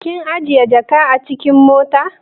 Kinajiye jaka na acikin mota?